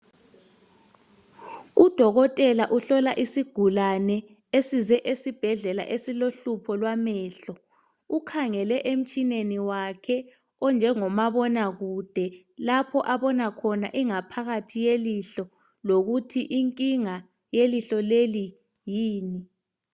Udokotela uhlola isigulane ,esize asibhadlela esilohlupho lwamehlo. Ukhangele emtshineni wakhe onjengomabona kude lapho abona khona ingaphakathi yelihlo. Lokuthi inkinga yelihlo leli yini.